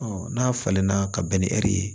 n'a falenna ka bɛn ni ɛri ye